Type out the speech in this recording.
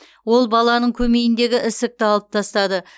ол баланың көмейіндегі ісікті алып тастады